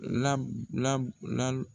labu labu lali